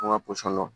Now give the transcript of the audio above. An ka pɔsɔn dɔn